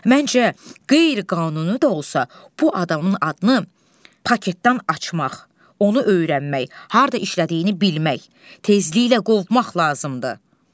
Məncə qeyri-qanuni də olsa bu adamın adını paketdən açmaq, onu öyrənmək, harda işlədiyini bilmək, tezliklə qovmaq lazımdır.